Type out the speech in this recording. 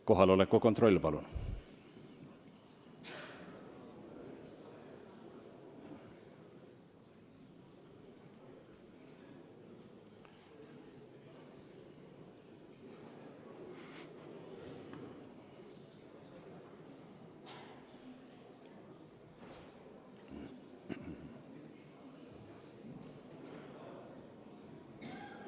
Kohaloleku kontroll, palun!